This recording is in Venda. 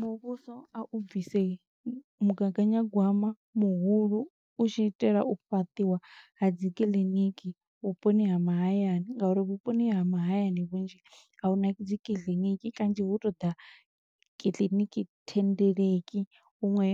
Muvhuso a u bvise mugaganyagwama muhulu. u tshi itela u fhaṱiwa ha dzi kiḽiniki vhuponi ha mahayani, nga uri vhuponi ha mahayani vhunzhi a huna dzi kiḽiniki, kanzhi hu to ḓa kiḽiniki thendeleki. Huṅwe